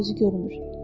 Göz-gözü görmür.